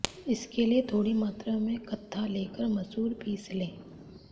इसके लिए थोड़ी मात्रा में कत्था लेकर मसूर पीस लें